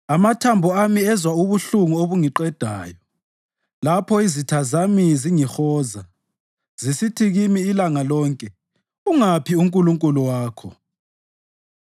Amathambo ami ezwa ubuhlungu obungiqedayo lapho izitha zami zingihoza, zisithi kimi ilanga lonke, “Ungaphi uNkulunkulu wakho?”